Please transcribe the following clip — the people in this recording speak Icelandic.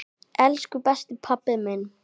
Elsku besti pabbi minn.